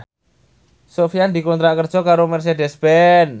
Sofyan dikontrak kerja karo Mercedez Benz